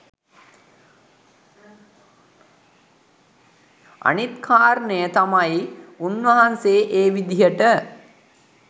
අනිත් කාරණය තමයි උන්වහන්සේ ඒ විදිහට